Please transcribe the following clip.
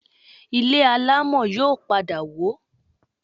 Ilé alámọ̀ yóò padà wó